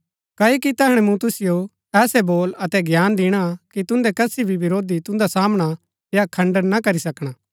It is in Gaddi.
क्ओकि तैहणै मूँ तुसिओ ऐसै बोल अतै ज्ञान दिणा कि तुन्दै कसी भी विरोधी तुन्दा सामना या खण्डन ना करी सकणा